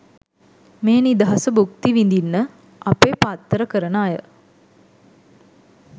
මේ නිදහස භූක්ති විදින්න අපේ පත්තර කරන අය